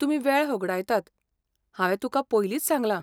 तुमी वेळ होगाडयतात, हांवें तुकां पयलींच सांगलां.